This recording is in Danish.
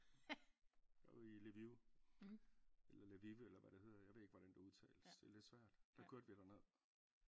Der var vi i Lviv eller Lvive eller hvad det hedder jeg ved ikke hvordan det udtales det er lidt svært der kørte vi der ned